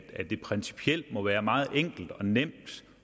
at det principielt må være meget enkelt og nemt